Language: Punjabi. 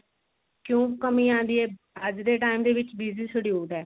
ਕਿਉਂ ਕਮੀ ਆਉਂਦੀ ਹੈ ਅੱਜ ਦੇ ਟੇਮ ਦੇ ਵਿੱਚ busy schedule ਹੈ